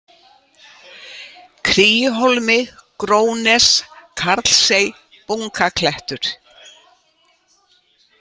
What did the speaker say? Kríuhólmi, Grónes, Karlsey, Bunkaklettur